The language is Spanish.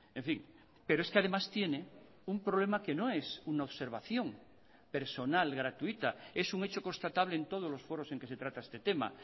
en fin pero es que además tiene un problema que no es una observación personal gratuita es un hecho constatable en todos los foros en que se trata este tema